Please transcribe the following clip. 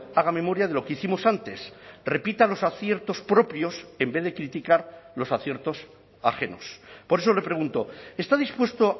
haga memoria de lo que hicimos antes repita los aciertos propios en vez de criticar los aciertos ajenos por eso le pregunto está dispuesto